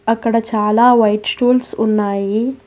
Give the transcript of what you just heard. అక్కడ చాలా white stools ఉన్నాయి.